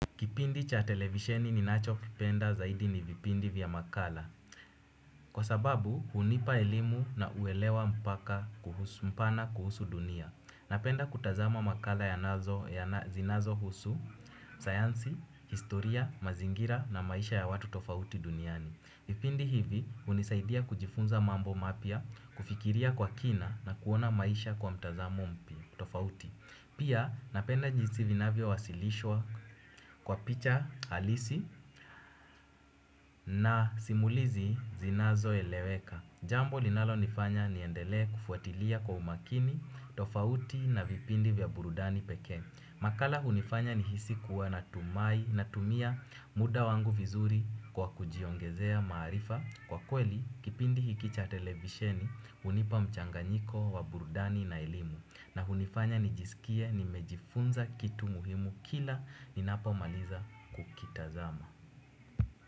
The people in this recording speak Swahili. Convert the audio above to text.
Kipindi cha televisheni ni nacho kipenda zaidi ni vipindi vya makala. Kwa sababu hunipa elimu na uelewa mpaka kuhusu mpana kuhusu dunia. Napenda kutazama makala ya nazo ya zinazo husu, sayansi, historia, mazingira na maisha ya watu tofauti duniani. Vipindi hivi hunisaidia kujifunza mambo mapya, kufikiria kwa kina na kuona maisha kwa mtazamo mpya tofauti. Pia napenda jinsi vinavyo wasilishwa kwa picha halisi na simulizi zinazo eleweka. Jambo linalo nifanya niendele kufuatilia kwa umakini tofauti na vipindi vya burudani pekee. Makala hunifanya ni hisi kuwa na tumia muda wangu vizuri kwa kujiongezea maarifa. Kwa kweli, kipindi hiki cha televisheni hunipa mchanganyiko wa burudani na elimu. Na hunifanya nijisikie nimejifunza kitu muhimu kila ninapo maliza kukitazama.